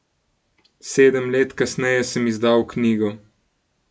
Sedem let kasneje sem izdal knjigo.